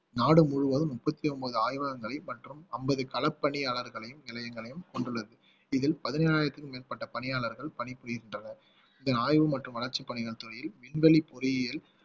நாடு முழுவதும் முப்பத்தி ஒன்பது ஆய்வகங்கள் மற்றும் அம்பது களப்பணியாளர்களையும் நிலையங்களையும் கொண்டுள்ளது இதில் பதினேழாயிரத்துக்கும் மேற்பட்ட பணியாளர்கள் பணிபுரிகின்றனர் இதன் ஆய்வு மற்றும் வளர்ச்சி பணிகள் துறையில் விண்வெளி பொறியியல்